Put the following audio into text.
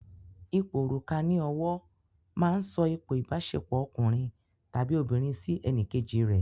Ipò òrùka ní ọwọ́ máa ń sọ ipò ìbáṣepọ̀ ọkùnrin tàbí obìnrin sí ẹnìkejì rè.